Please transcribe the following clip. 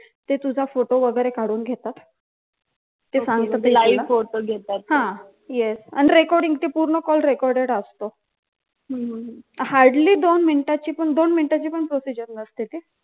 ते तुझा फोटो वगैरे काढून घेतात ते सांगते ते live घेतात हा आणि recording ते पूर्ण कॉल recorded असतो hardly दोन मिनिटं दोन मिनिटाची पण procedure नसते ती